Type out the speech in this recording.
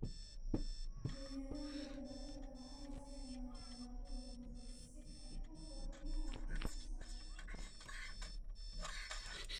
Beeralayda baradhada waxay isticmaalaan abuur wanaagsan si ay u kordhiyaan wax soo saarka.